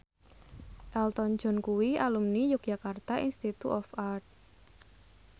Elton John kuwi alumni Yogyakarta Institute of Art